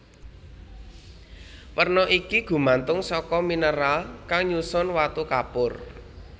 Werna iki gumantung saka mineral kang nyusun watu kapur